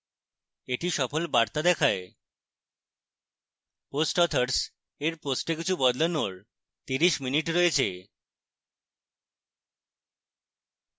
একটি সফল বার্তা দেখায় post authors এর post কিছু বদলানোর 30 min রয়েছে